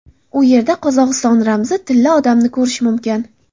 U yerda Qozog‘iston ramzi Tilla odamni ko‘rish mumkin.